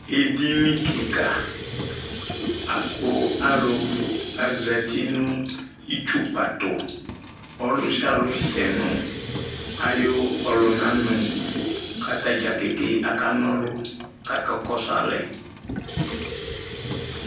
Edini kika aku alu azati nu itsukpa tu Ɔlusialu sɛ nu ayu ɔlunanu Kata ɖzakeke aka kɔsu alɛ